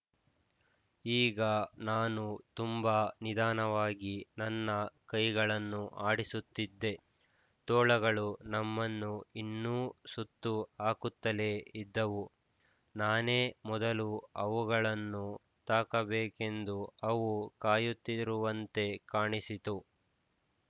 ಈಗ ನಾನು ತುಂಬ ನಿಧಾನವಾಗಿ ನನ್ನ ಕೈಗಳನ್ನು ಆಡಿಸುತ್ತಿದ್ದೆ ತೋಳಗಳು ನಮ್ಮನ್ನು ಇನ್ನೂ ಸುತ್ತು ಹಾಕುತ್ತಲೇ ಇದ್ದವು ನಾನೇ ಮೊದಲು ಅವುಗಳನ್ನು ತಾಕಬೇಕೆಂದು ಅವು ಕಾಯುತ್ತಿರುವಂತೆ ಕಾಣಿಸಿತು